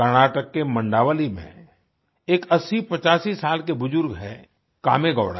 कर्नाटक के मंडावली में एक 8085 साल के बुजुर्ग हैं कामेगौड़ा